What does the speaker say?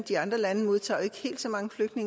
i